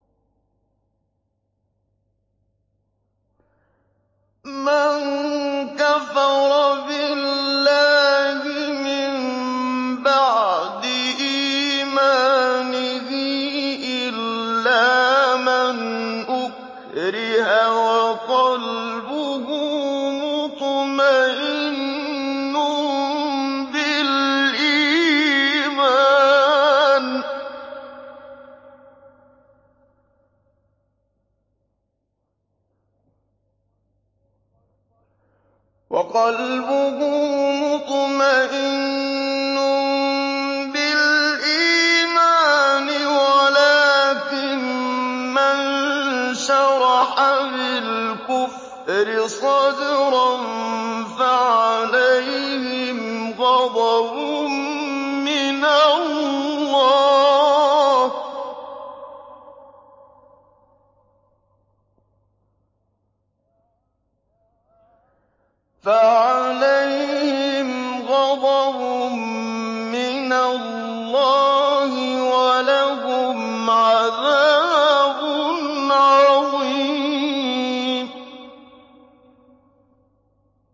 مَن كَفَرَ بِاللَّهِ مِن بَعْدِ إِيمَانِهِ إِلَّا مَنْ أُكْرِهَ وَقَلْبُهُ مُطْمَئِنٌّ بِالْإِيمَانِ وَلَٰكِن مَّن شَرَحَ بِالْكُفْرِ صَدْرًا فَعَلَيْهِمْ غَضَبٌ مِّنَ اللَّهِ وَلَهُمْ عَذَابٌ عَظِيمٌ